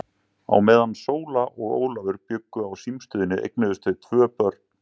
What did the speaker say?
Hallinn var því árlega alltað tveimur milljónum og lenti á aðildarsamböndunum.